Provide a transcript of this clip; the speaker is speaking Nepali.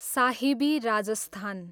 साहिबी, राजस्थान